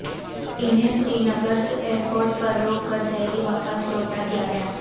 انہیں Srinagar airport پر روک کر دہلی واپس لوٹادیاگیا